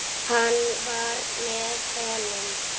Hann var með honum!